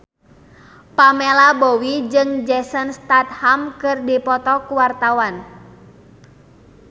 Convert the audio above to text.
Pamela Bowie jeung Jason Statham keur dipoto ku wartawan